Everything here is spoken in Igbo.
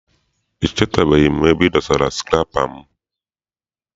Echetaghị m ebe m dosara sukụrapa m.